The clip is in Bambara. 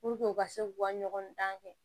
u ka se k'u ka ɲɔgɔn dan kɛ